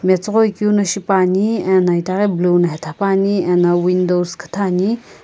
metsüghoi keu no shipuani eno itaghi blue no hetha puani eno windows küthü ani.